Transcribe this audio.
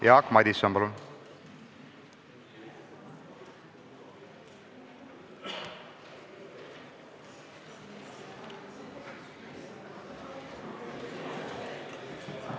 Jaak Madison, palun!